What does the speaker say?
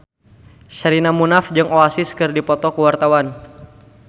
Sherina Munaf jeung Oasis keur dipoto ku wartawan